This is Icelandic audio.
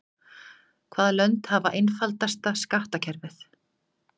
Hvaða lönd hafa einfaldasta skattkerfið?